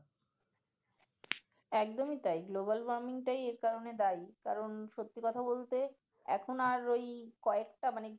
একদমই তাই global warming টাই এই কারণেই দায়ী ।কারণ সত্যি কথা বলতে এখন আর কয়েকটা ঐ মানে।